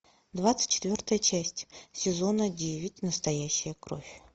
двадцать четвертая часть сезона девять настоящая кровь